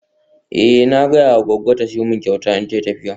Eh na gaya ma goggo ta siyo min kyauta idan tayi tafiya.